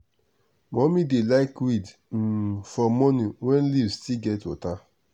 mummy dey like weed um for morning when leaf still get water.